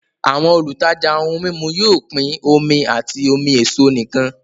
Àwọn olùtajà ohun mímu yóò pín omi àti omi èso nìkan